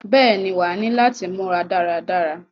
Bẹ́ẹ̀ ni, wàá ní láti múra dára dára.